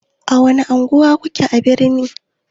A wani unguwa kuke a birni?